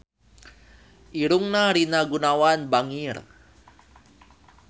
Irungna Rina Gunawan bangir